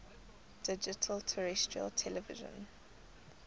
digital terrestrial television